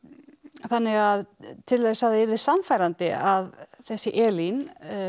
þannig að til þess að það yrði sannfærandi að þessi Elín